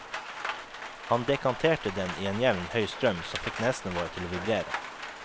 Han dekanterte den i en jevn, høy strøm som fikk nesene våre til å vibrere.